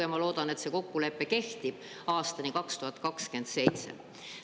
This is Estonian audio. Ja ma loodan, et see kokkulepe kehtib aastani 2027.